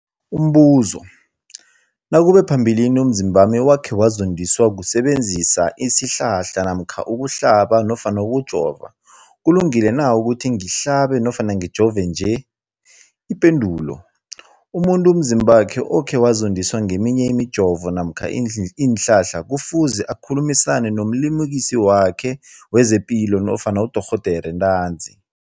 Umbuzo, nakube phambilini umzimbami wakhe wazondiswa kusebenzisa isihlahla namkha ukuhlaba nofana ukujova, kulungile na ukuthi ngihlabe nofana ngijove nje? Ipendulo, umuntu umzimbakhe okhe wazondiswa ngeminye imijovo namkha iinhlahla kufuze akhulumisane nomlimukisi wakhe wezepilo nofana nodorhoderakhe ntanzi.